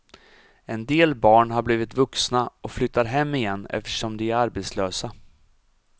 En del barn har blivit vuxna och flyttar hem igen eftersom de är arbetslösa.